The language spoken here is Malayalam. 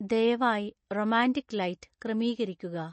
ദയവായി റൊമാന്റിക് ലൈറ്റ് ക്രമീകരിക്കുക